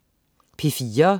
P4: